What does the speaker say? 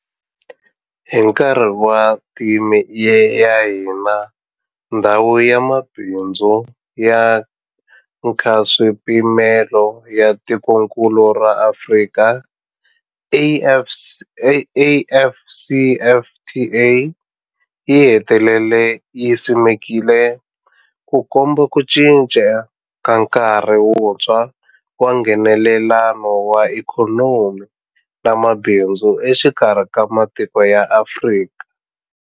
Hi nkarhi wa theme ya hina, Ndhawu ya Mabindzu ya Nkaswipimelo ya Tikokulu ra Afrika, AfCFTA, yi hetelele yi simekiwile, Ku komba ku cinca ka nkarhi wuntshwa wa Nghenelelano wa ikhonomi na mabindzu exikarhi ka matiko ya Afrika.